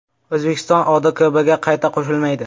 O‘zbekiston ODKBga qayta qo‘shilmaydi .